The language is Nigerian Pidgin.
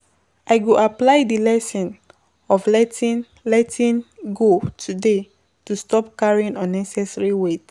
I go apply di lesson of letting letting go today to stop carrying unnecessary weight.